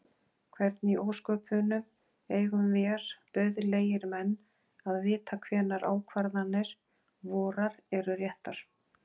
Hvernig í ósköpunum eigum vér dauðlegir menn að vita hvenær ákvarðanir vorar eru réttar?